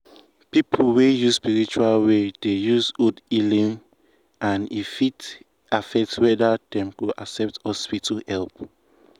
people wey follow spiritual way dey use old healing and e fit affect whether dem go accept hospital help.